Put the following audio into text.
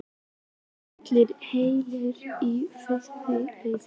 Eru allir heilir í fyrsta leik?